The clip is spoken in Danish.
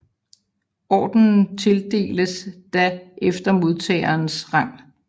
Ordenen tildeles da efter modtagerens rang